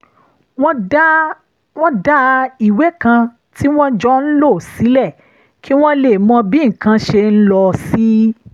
wọ́n dá ìwé kan tí wọ́n jọ ń lò sílẹ̀ kí wọ́n lè mọ bí nǹkan ṣe ń lọ sí